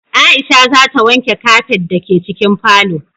Aisha za ta wanke kafet da ke cikin falo